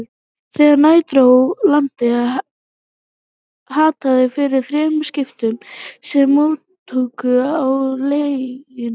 Þegar nær dró landi, hattaði fyrir þremur skipum, sem móktu á legunni.